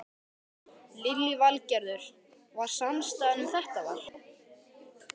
Lillý Valgerður: Var samstaða um þetta val?